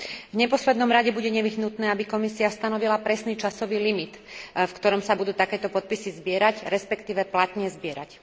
V neposlednom rade bude nevyhnutné, aby Komisia stanovila presný časový limit, v ktorom sa budú takéto podpisy zbierať, respektíve platne zbierať.